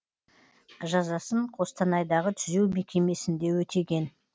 жазасын қостанайдағы түзеу мекемесінде өтеген